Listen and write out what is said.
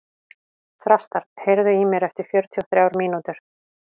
Þrastar, heyrðu í mér eftir fjörutíu og þrjár mínútur.